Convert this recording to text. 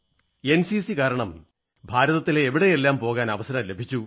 NCC കാരണം ഭാരതത്തിലെ എവിടെയെല്ലാം പോകാൻ അവസരം ലഭിച്ചു